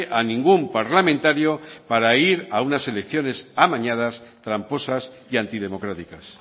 a ningún parlamentario para ir a unas elecciones amañadas tramposas y antidemocráticas